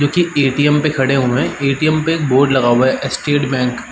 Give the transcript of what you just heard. जोकि एटीएम पे खड़े हुए हैं। एटीएम पे एक बोर्ड लगा हुआ है स्टेट बैंक --